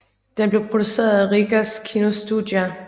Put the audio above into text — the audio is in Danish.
Den blev produceret af Rīgas kinostudija